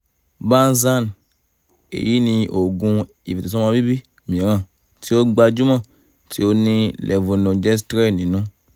bandhan: èyí ni oògùn ìfètòsọ́mọbíbí mìíràn tí ó gbajúmọ̀ tí ó ní levonorgestrel nínú